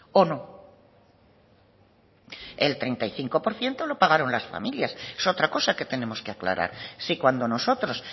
o no el treinta y cinco por ciento lo pagaron las familias es otra cosa que tenemos que aclarar si cuando nosotros